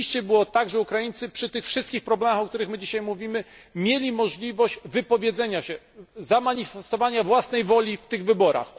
Rzeczywiście było tak, że Ukraińcy przy tych wszystkich problemach, o których my dzisiaj mówimy, mieli możliwość wypowiedzenia się, zamanifestowania własnej woli w tych wyborach.